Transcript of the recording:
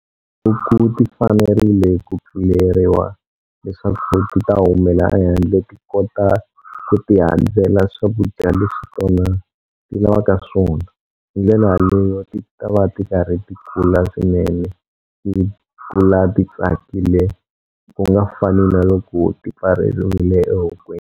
Wu ti fanerile ku pfuleriwa leswaku ti ta humela ehandle ti kota ku ti handzela swakudya leswi tona ti lavaka swona hi ndlela yaleyo ti ta va ti karhi ti kula swinene ti kula ti tsakile ku nga fani na loko ti pfareriwile ehokweni.